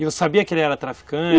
E sabia que ele era traficante?